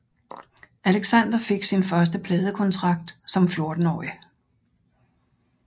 Alexander fik sin første pladekontrakt som 14 årig